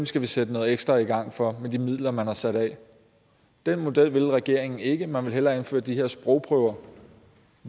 skal vi sætte noget ekstra i gang for med de midler man har sat af den model vil regeringen ikke man vil hellere indføre de her sprogprøver